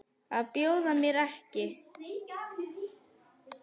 Að bjóða mér ekki.